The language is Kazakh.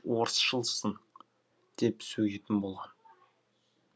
орысшылсың деп сөгетін болған